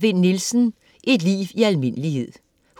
Vinn Nielsen, Bent: Et liv i almindelighed